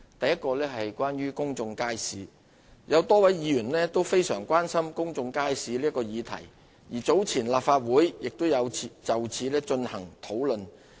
一公眾街市有多位議員都非常關心公眾街市這個議題，而早前立法會亦有就此進行討論。